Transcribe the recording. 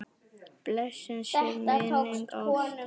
Blessuð sé minning Ástu.